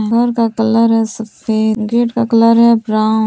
घर का कलर है सफेद गेट का कलर है ब्राउन --